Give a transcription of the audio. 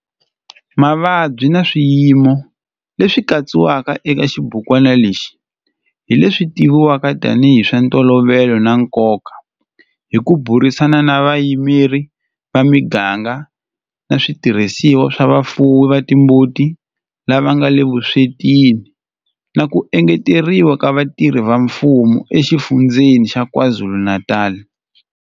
Mavabyi na swiyimo leswi katsiwaka eka xibukwana lexi hi leswi tivivwaka tanihi hi swa ntolovelo na nkoka hi ku burisana na vayimeri va miganga na switirhisiwa swa vafuwi va timbuti lava nga le vuswetini na ku engeteriwa ka vatirhi va mfumo eXifundzheni xa KwaZulu-Natal.